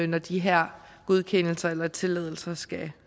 når de her godkendelser eller tilladelser skal